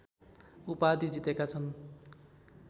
उपाधि जितेका छन्